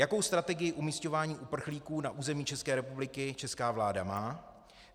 Jakou strategii umísťování uprchlíků na území České republiky česká vláda má?